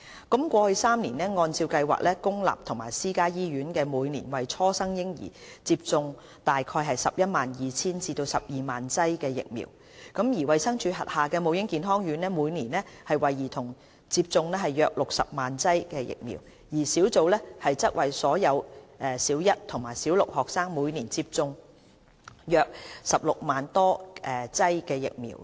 過去3年，按照計劃，公立及私家醫院每年為初生嬰兒接種約 112,000 至 120,000 劑疫苗；衞生署轄下母嬰健康院每年為兒童接種約60萬劑疫苗，而小組則為所有小一及小六學生每年接種約16萬多劑疫苗。